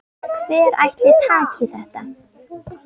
Hver ætli taki þetta?